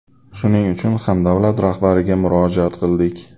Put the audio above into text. Shuning uchun ham davlat rahbariga murojaat qildik.